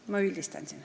Ma praegu üldistan.